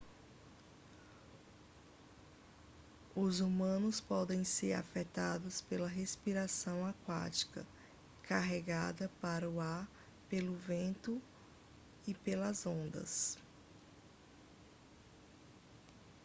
os humanos podem ser afetados pela respiração aquática carregada para o ar pelo vento e pelas ondas